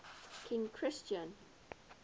king christian